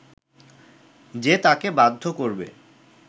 যে তাঁকে বাধ্য করবে